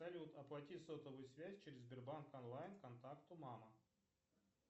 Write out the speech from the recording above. салют оплати сотовую связь через сбербанк онлайн контакту мама